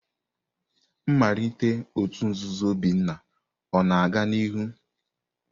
Nmalite òtù nzuzo Obinna ọ na-aga n'ihu?